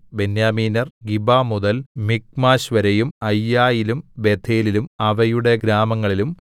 ബെന്യാമീന്യർ ഗിബമുതൽ മിക്മാശ്‌വരെയും അയ്യയിലും ബേഥേലിലും അവയുടെ ഗ്രാമങ്ങളിലും